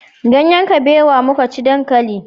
Ganyen kabewa muka ci dankali